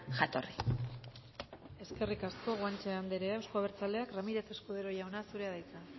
jatorri eskerrik asko guanche andrea euzko abertzaleak ramirez escudero jauna zurea da hitza